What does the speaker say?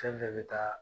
Fɛn fɛn bɛ taa